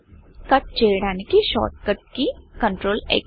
cut కట్చేయడానికి shortcut key CTRLXకంట్రోల్ క్స్